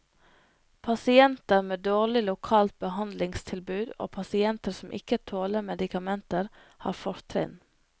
Pasienter med dårlig lokalt behandlingstilbud og pasienter som ikke tåler medikamenter, har fortrinn.